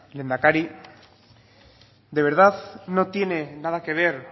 lehendakari de verdad no tiene nada que ver